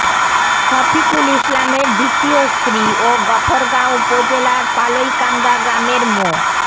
শফিকুল ইসলামের দ্বিতীয় স্ত্রী ও গফরগাঁও উপজেলার পালইকান্দা গ্রামের মো